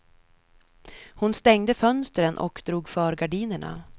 Hon stängde fönstren och drog för gardinerna.